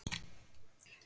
Það er mitt að þakka.